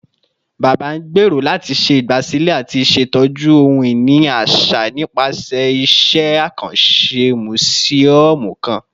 Baba ngbero lati ṣe igbasilẹ ati ṣetọju ohun-ini aṣa nipasẹ iṣẹ akanṣe musiọmu kan